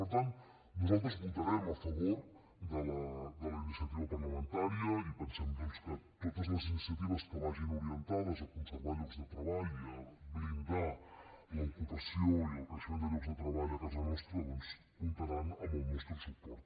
per tant nosaltres votarem a favor de la iniciativa parlamentària i pensem doncs que totes les iniciatives que vagin orientades a conservar llocs de treball i a blindar l’ocupació i el creixement de llocs de treball a casa nostra comptaran amb el nostre suport